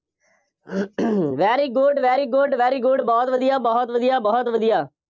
very good, very good, very good ਬਹੁਤ ਵਧੀਆ, ਬਹੁਤ ਵਧੀਆ, ਬਹੁਤ ਵਧੀਆ।